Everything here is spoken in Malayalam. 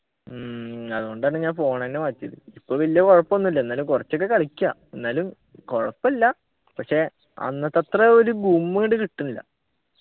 ഉം അതുകൊണ്ടാണ് ഞാൻ phone എന്നെ മാറ്റിയത് ഇപ്പൊ വല്യ കുഴപ്പൊന്നും ഇല്ല എന്നാലും കുറച്ചൊക്കെ കളിക്കാ എന്നാലും കുഴപ്പല്ല പക്ഷെ അന്നത്തെത്ര ഒരു ഗും ഇങ്ങട്ട് കിട്ടുന്നില്ല